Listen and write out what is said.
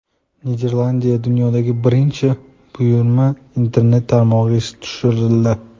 Niderlandiyada dunyodagi birinchi Buyumlar Interneti tarmog‘i ishga tushirildi.